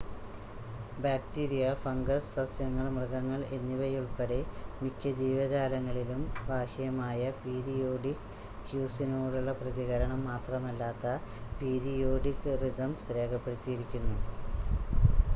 bacteria fungus സസ്യങ്ങൾ മൃഗങ്ങൾ എന്നിവയുൾപ്പടെ മിക്ക ജീവജാലങ്ങളിലും ബാഹ്യമായ പീരിയോഡിക് ക്യൂസിനോടുള്ള പ്രതികരണം മാത്രമല്ലാത്ത പീരിയോഡിക് റിതംസ് രേഖപ്പെടുത്തിയിരിക്കുന്നു